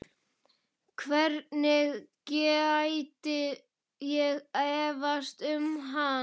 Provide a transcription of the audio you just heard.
Hvernig gæti ég efast um hann?